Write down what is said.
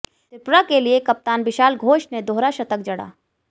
त्रिपुरा के लिए कप्तान बिशाल घोष ने दोहरा शतक जड़ा